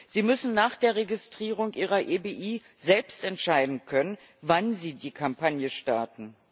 Sie müssen nach der Registrierung ihrer EBI selbst entscheiden können, wann sie die Kampagne starten.